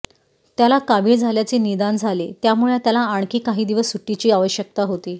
त्याला कावीळ झाल्याचे निदान झाले त्यामुळे त्याला आणखी काही दिवस सुट्टीची आवश्यकता होती